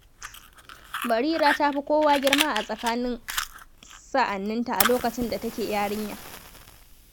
Barira ta fi kowa girma a tsakanin sa'anninta a lokacin da take yarinya.